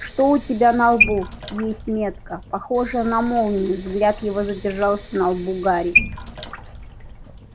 что у тебя на лбу есть метка похожая на молнию взгляд его задержался на лбу гарри